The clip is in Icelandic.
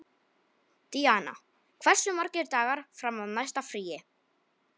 Díanna, hversu margir dagar fram að næsta fríi?